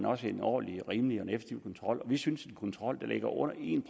også er en ordentlig og rimelig og effektiv kontrol vi synes at en kontrol der ligger under en